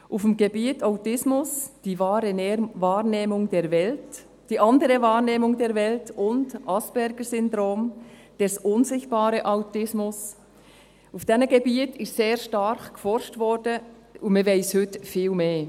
Auf dem Gebiet Autismus, die wahre Wahrnehmung der Welt, die andere Wahrnehmung der Welt, und Aspergersyndrom, der unsichtbare Autismus, auf diesen Gebieten wurde sehr stark geforscht, und man weiss heute viel mehr.